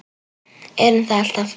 Erum það alltaf.